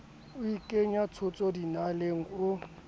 o ikenya tshotso dinaleng o